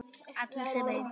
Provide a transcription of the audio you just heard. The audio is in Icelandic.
Allar sem ein.